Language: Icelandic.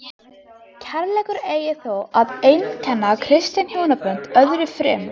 Kærleikur eigi þó að einkenna kristin hjónabönd öðru fremur.